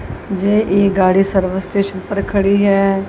जे ये गाड़ी service station पर खड़ी है।